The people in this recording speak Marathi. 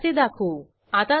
बुक इद 1 वर क्लिक करा